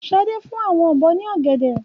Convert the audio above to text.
Ṣadé fún àwọn ọ̀bọ ní ọ̀gẹ̀dẹ̀.